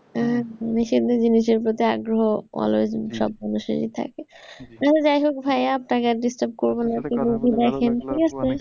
হ্যাঁ নিষিদ্ধ জিনিসের প্রতি আগ্রহ always সব মানুষেরই থাকে। যাই হোক ভাইয়া আপনাকে আর disturb করবো না